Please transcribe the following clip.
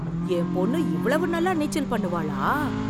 என் பொண்ணு இவ்வளவு நல்லா நீச்சல் பண்ணுவாளா!